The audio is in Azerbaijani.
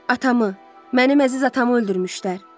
Atamı, mənim əziz atamı öldürmüşlər.